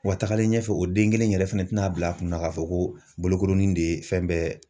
Wa tagalen ɲɛfɛ ,o den kelen yɛrɛ fɛnɛ tɛna bila a kunna k'a fɔ ko bolokolɔnin de ye fɛn bɛɛ